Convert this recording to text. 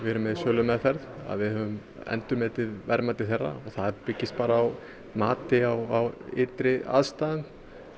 erum með í sölumeðferð að við höfum endurmetið verðmæti þeirra það byggist bara á mati á ytri aðstæðum